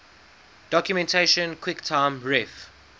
documentation quicktime ref